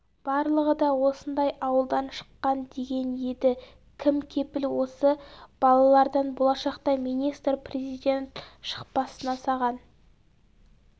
барлығы да осындай ауылдан шыққан деген еді кім кепіл осы балалардан болашақта министр президент шықпасына саған